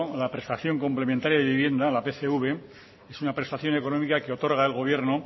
la prestación complementaria de vivienda la pcv es una prestación económica que otorga el gobierno